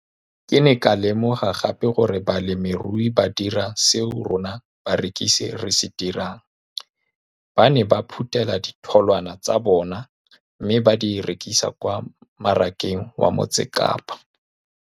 Ke ne ka lemoga gape gore balemirui ba dira seo rona barekisi re se dirang, ba ne ba phuthela ditholwana tsa bona mme ba di rekisa kwa marakeng wa Motsekapa.